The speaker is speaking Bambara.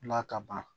La kaban